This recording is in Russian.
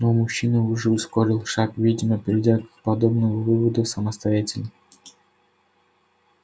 но мужчина уже ускорил шаг видимо придя к подобному выводу самостоятельно